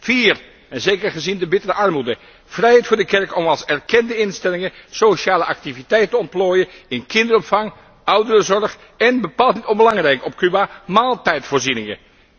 Ten vierde, en zeker gezien de bittere armoede, vrijheid voor de kerk om als erkende instelling sociale activiteit te ontplooien in kinderopvang, ouderenzorg en bepaald niet onbelangrijk op Cuba maaltijdvoorzieningen.